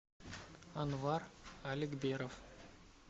анвар аликберов